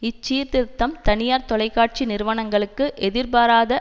இச்சீர்திருத்தம் தனியார் தொலைக்காட்சி நிறுவனங்களுக்கு எதிர்பாராத